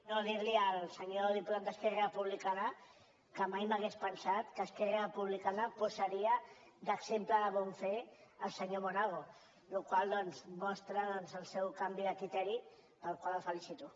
no dir al senyor diputat d’esquerra republicana que mai m’hauria pensat que esquerra republicana posaria d’exemple de bon fer el senyor monago la qual cosa mostra el seu canvi de criteri pel qual el felicito